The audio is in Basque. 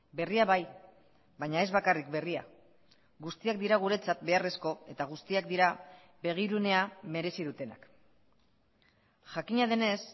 berria bai baina ez bakarrik berria guztiak dira guretzat beharrezko eta guztiak dira begirunea merezi dutenak jakina denez